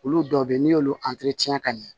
Olu dɔw bɛ yen n'i y'olu ka ɲɛ